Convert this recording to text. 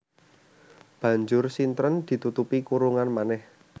Banjur sintren ditutupi kurungan manèh